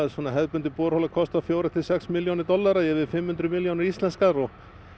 hefðbundin borhola kostar fjórar til sex milljónir dollara yfir fimm hundruð milljónir íslenskra og